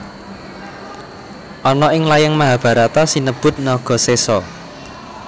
Ana ing layang Mahabharata sinebut Nagasesa